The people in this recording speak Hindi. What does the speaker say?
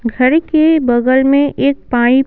घर के बगल में एक पाइप --